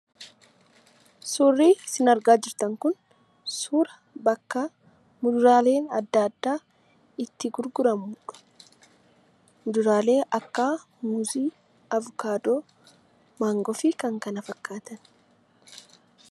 Suurri isin argaa jirtan kun suuraa bakka fuduraaleen adda addaa itti gurguramudha. Fuduraalee akka muuzii, avokaadoo, maangoo fi kan kana fakkaatan.